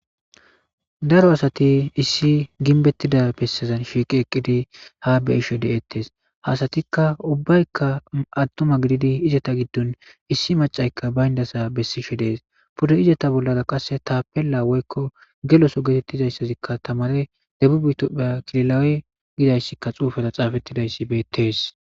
Daro asati issi ginbettida bessezan shiiqi eqqidi ha beisho de'ettes hasatikka ubbaykka attuma gididi izeta giddun issi macaykka bayndasa bessishe dees pude izeta bollada qasse tapella woykko geloso geetettizayssazikka tamare debubtoppha kililawe gidayssika xuufata xaafettidayssi beettees.